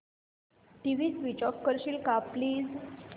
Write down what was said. TV switch off करशील का please